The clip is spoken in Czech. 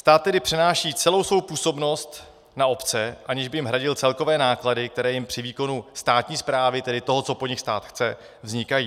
Stát tedy přenáší celou svou působnost na obce, aniž by jim hradil celkové náklady, které jim při výkonu státní správy, tedy toho, co po nich stát chce, vznikají.